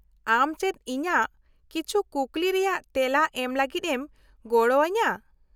-ᱟᱢ ᱪᱮᱫ ᱤᱧᱟᱹᱜ ᱠᱤᱪᱷᱩ ᱠᱩᱠᱞᱤ ᱨᱮᱭᱟᱜ ᱛᱮᱞᱟ ᱮᱢ ᱞᱟᱹᱜᱤᱫ ᱮᱢ ᱜᱚᱲᱚ ᱟᱹᱧᱟᱹ ?